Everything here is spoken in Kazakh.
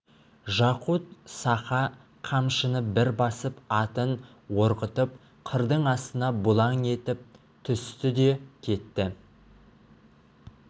жақут-саха қамшыны бір басып атын орғытып қырдың астына бұлаң етіп түсті де кетті